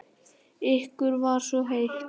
Ykkur var svo heitt.